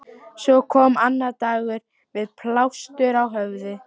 Svo kom annar dagur- með plástur á höfði.